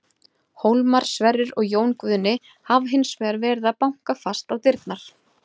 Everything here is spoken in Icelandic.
Hólmar, Sverrir og Jón Guðni hafa hins vegar verið að banka fast á dyrnar.